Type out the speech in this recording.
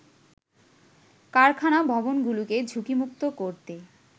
কারখানা ভবনগুলোকে ঝুঁকিমুক্ত করতে